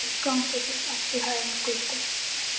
Gangi þér allt í haginn, Gudda.